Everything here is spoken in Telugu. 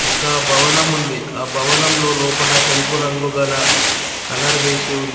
ఒక భవనం ఉంది. ఆ భవనంలో లోపట తెలుపు రంగు గల కలర్ వేసి ఉంది.